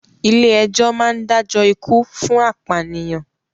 Ilé ẹjọ́ máa ń dájọ́ ikú fún apànìyàn.